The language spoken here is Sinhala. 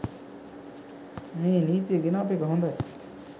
මේ නීතිය ගෙනාපු එක හොඳයි